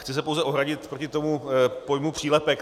Chci se pouze ohradit proti tomu pojmu přílepek.